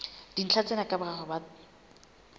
dintlha tsena ka boraro ba